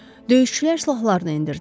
Döyüşçülər silahlarını endirdilər.